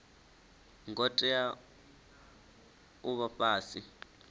ngo tea u vha fhasi